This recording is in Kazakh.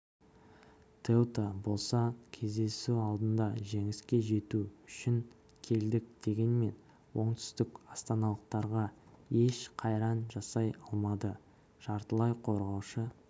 теута болса кездесу алдында жеңіске жету үшін келдік дегенмен оңтүстікастаналықтарға еш қайран жасай алмады жартылай қорғаушы